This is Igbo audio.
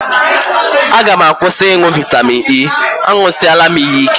A ga m akwụsị ịṅụ vitamin E, añụsịela m ya ike